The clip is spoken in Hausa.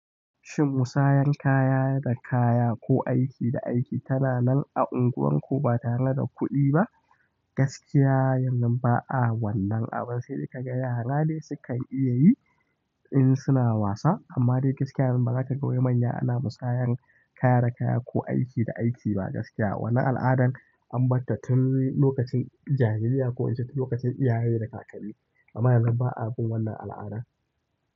Shin musayar kaya da kaya ko aiki da aiki tana nan a unguwanku ba tare da kuɗi ba? Gaskiya yanzu ba a wannan abun, sai dai ka ga yara ne sukan iya yi in suna wasa. Amma dai gaskiya yanzu ba za ka ga mai manya ana musayar kaya da kaya ko aiki da aiki ba gaskiya. Wannan al'adan an bar ta tun lokacin jaririya ko in ce tun lokacin iyaye da kakanni. Amma yanzu ba a bin wannan al'adan.